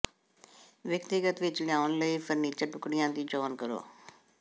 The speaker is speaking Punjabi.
ਵਿਅਕਤੀਗਤ ਵਿਚ ਲਿਆਉਣ ਲਈ ਫਰਨੀਚਰ ਟੁਕੜਿਆਂ ਦੀ ਚੋਣ ਕਰੋ